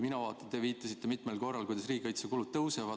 Te viitasite mitmel korral sellele, kuidas riigikaitsekulud kasvavad.